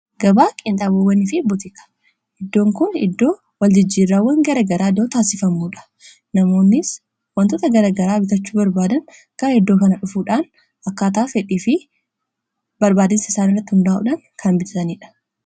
gabaa qinxaabowwanii fi butiki iddoon kun iddoo wal jijjirrawwan garagaraa idoo taassifamuudha namoonnis wantoota garagaraa bitachuu barbaadan gara iddoo kana dhufuudhaan akkaataa fedhii fi barbaachiinsa isaan irratti hundaa'uudhan kan bitaaniidha